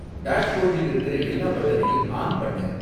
டாஷ்போர்டில் இருக்குற எல்லா பட்டனையும் ஆன் பண்ணு